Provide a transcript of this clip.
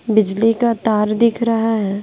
बिजली का तार दिख रहा है।